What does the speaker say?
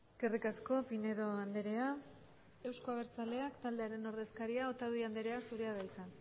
eskerrik asko pinedo andrea euzko abertzaleak taldearen ordezkaria otadui andrea zurea da hitza